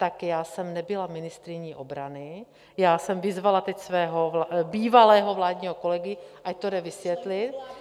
Tak já jsem nebyla ministryní obrany, já jsem vyzvala teď svého bývalého vládního kolegu, ať to jde vysvětlit.